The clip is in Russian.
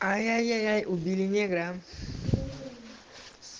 аяяй убили негра